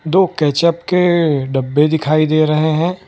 दो केचअप के डब्बे दिखाई दे रहे हैं।